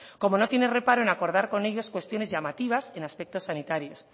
como no tienen reparo en acordar con ellos cuestiones llamativas en aspectos sanitarios